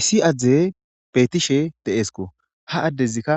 Issi adey betishe de'esko ha adezika